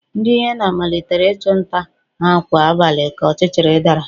Ndị hyena malitere ịchụ nta ha kwa abalị ka ọchịchịrị dara